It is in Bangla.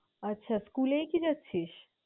আচ্ছা school এই কি যাচ্ছিস?